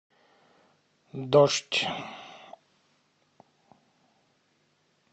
дождь